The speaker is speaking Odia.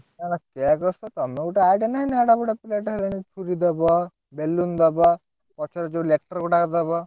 Cake ସହ ତମେ ଗୁଟେ idea ନାଁହି ନା ଏଡେ ବଡ ପିଲାଟି ହେଲାଣି ଛୁରୀ ଦବ balloon ଦବ ପଛରେ ଯୋଉ letter ଗୁଡାକ ଦବ।